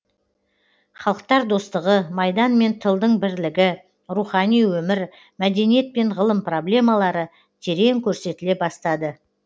халықтар достығы майдан мен тылдың бірлігі рухани өмір мәдениет пен ғылым проблемалары терең көрсетіле бастады